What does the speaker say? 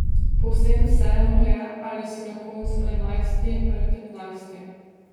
Povsem vseeno je, ali si na koncu enajsti ali petnajsti.